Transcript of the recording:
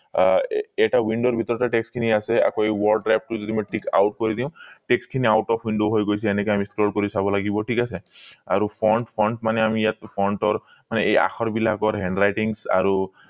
এৰ এটা window ৰ ভিতৰতে text খিনি আছে আকৌ word drive টো মই যদি থিক out কৰি দিও text খিনি out of window হৈ গৈছে এনেকে আমি scroll কৰি চাব লাগিব ঠিক আছে আৰু front front মানে আমি ইয়াত front ৰ এই আখৰ বিলাকৰ handwritings আৰু